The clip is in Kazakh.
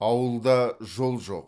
ауылда жол жоқ